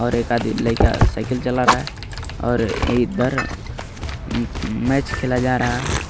और एक आधे लइका साइकिल चला रहा है और इधर अम्-मैच खेला जा रहा है.